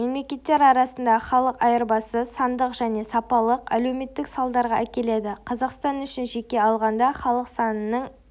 мемлекеттер арасындағы халық айырбасы сандық және сапалық әлеуметтік салдарға әкеледі қазақстан үшін жеке алғанда халық санының